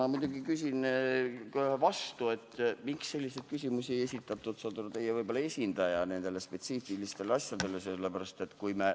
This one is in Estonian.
Ma muidugi küsin kohe vastu, et miks ei esitanud selliseid küsimusi nende spetsiifiliste asjade kohta teie esindaja.